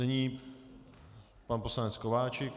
Nyní pan poslanec Kováčik.